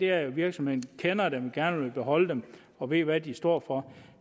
er jo at virksomheden kender dem gerne vil beholde dem og ved hvad de står for